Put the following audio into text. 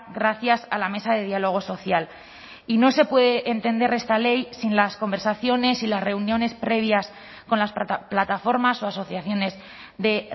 gracias a la mesa de diálogo social y no se puede entender esta ley sin las conversaciones y las reuniones previas con las plataformas o asociaciones de